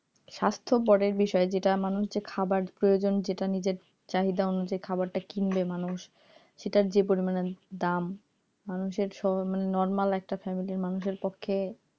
স্বাস্থ্যপরের বিষয় যেটা মানুষ যে খাবার প্রয়োজন যেটা নিজের চাহিদা অনুযায়ী খাবারটা কিনবে মানুষ সেটার যে পরিমাণে দাম মানুষের সব মানে normal একটা family এর মানুষের পক্ষে